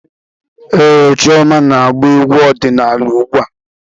Ee, Chioma na-agba egwú ọdịnaala ugbu a.